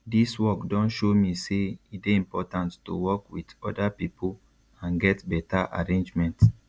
dis work don show me say e dey important to work wit oda pipo and get beta arrangement